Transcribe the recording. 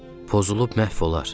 Pozulub məhv olar.